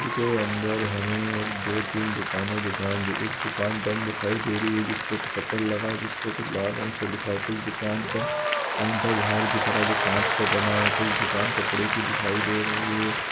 इसके अंदर हमें एक दो तीन दुकाने दिखाई दे एक दुकान बंद दिखाई दे रही है जिसपे शटर लगा है जिसपे कुछ लाल रंग से लिखा है कुछ दुकान का काउंटर बाहर दिख रहा है जो कांच का बना कुछ दुकान कपड़े की दिखाई दे रही है।